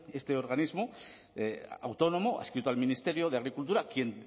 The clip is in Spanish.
este organismo autónomo adscrito al ministerio de agricultura quien